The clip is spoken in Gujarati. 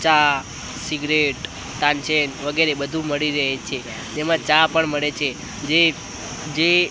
ચા સિગરેટ ટાંચેન વગેરે બધુ મળી રહે છે તેમા ચા પણ મળે છે જે જે--